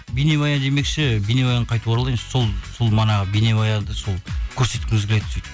бейнебаян демекші бейнебаянға қайтып оралайын сол манағы бейнебаянды сол көрсеткіміз келеді сөйтіп